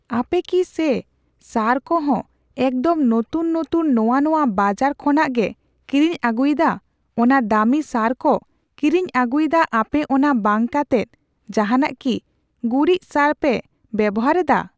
ᱟᱯᱮᱠᱤ ᱥᱮ ᱥᱟᱨᱠᱚᱦᱚᱸ ᱮᱠᱫᱚᱢ ᱱᱚᱛᱩᱱ ᱱᱚᱛᱩᱱ ᱱᱚᱣᱟ ᱱᱚᱣᱟ ᱵᱟᱲᱟᱨ ᱠᱷᱚᱱᱟᱜᱯᱮ ᱠᱤᱨᱤᱧ ᱟᱹᱜᱩᱭᱮᱫᱟ ᱚᱱᱟ ᱫᱟᱢᱤ ᱥᱟᱨᱠᱚ ᱠᱤᱨᱤᱧ ᱟᱹᱜᱩᱭᱮᱫᱟ ᱟᱯᱮ ᱚᱱᱟ ᱵᱟᱝ ᱠᱟᱛᱮᱜ ᱡᱟᱦᱟᱱᱟᱜ ᱠᱤ ᱜᱩᱨᱤᱪ ᱥᱟᱨᱯᱮ ᱯᱮ ᱵᱮᱵᱚᱦᱟᱨᱮᱫᱟ ?